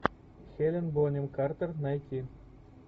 хелен бонем картер найти